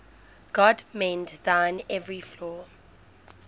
god mend thine every flaw